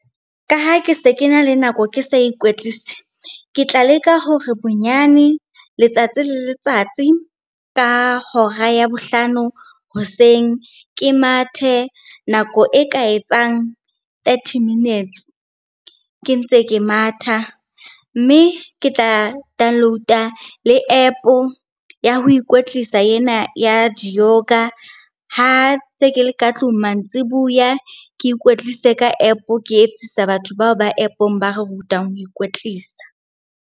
Ka ha ke se kena le nako ke sa ikwetlise. Ke tla leka hore bonyane letsatsi le letsatsi ka hora ya bohlano hoseng, ke mathe nako e ka etsang thirty minutes ke ntse ke matha. Mme ke tla download-a le App ya ho ikwetlisa ena ya di-yoga ha ntse ke le ka tlung mantsibuya. Ke ikwetlise ka App, ke etsisa batho bao ba app-ong ba re rutang ho ikwetlisa.